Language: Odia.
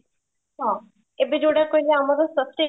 ହଁ, ଏବେ ଯୋଉଟା କହିଲା ଆମର ପ୍ରତ୍ୟେକ